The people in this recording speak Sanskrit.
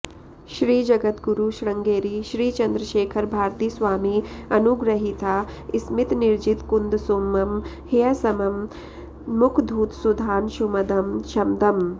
श्रीजगद्गुरु शृङ्गेरी श्रीचन्द्रशेखरभारतीस्वामि अनुगृहीता स्मितनिर्जितकुन्दसुमं ह्यसमं मुखधूतसुधांशुमदं शमदम्